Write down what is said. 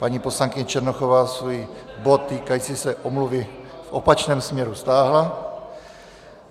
Paní poslankyně Černochová svůj bod týkající se omluvy v opačném směru stáhla.